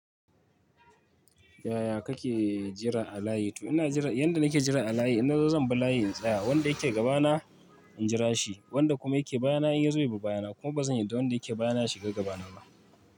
Yaya kake jira a layi? To ina jira, yanda nake jira a layi, in na zo zan bi layi tsaya, wanda yake gabana injira shi, wanda kuma yake bayana in ya zo ya bi bayana. Kuma ba zan yanda wanda yake bayana ya shiga gaba na ba.